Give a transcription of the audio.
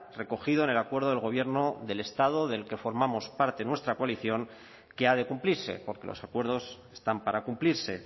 recogido en el acuerdo del gobierno del estado del que formamos parte nuestra coalición que ha de cumplirse porque los acuerdos están para cumplirse